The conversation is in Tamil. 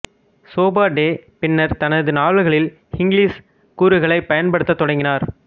சோபா டே பின்னர் தனது நாவல்களில் ஹிங்லிஷ் கூறுகளைப் பயன்படுத்தத் தொடங்கினார்